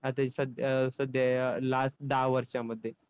आता ही सध्या अं सध्या या last दहा वर्षामध्ये?